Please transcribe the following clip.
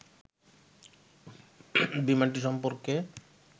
বিমানটি সম্পর্কে